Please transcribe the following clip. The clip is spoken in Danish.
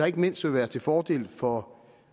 ikke mindst vil være til fordel for